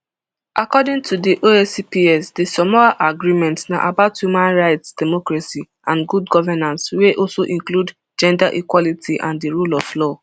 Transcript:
according to di oacps di samoa agreement na about human rights democracy and good governance wey also include gender equality and di rule of law